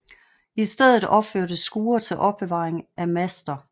I stedet opførtes skure til opbevaring af master